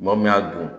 Maa min y'a dun